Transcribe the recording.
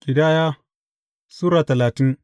Ƙidaya Sura talatin